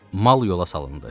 Mal yola salındı.